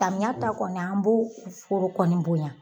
Samiya ta kɔni an b'o foro kɔni bonya.